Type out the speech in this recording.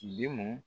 Bi mɔn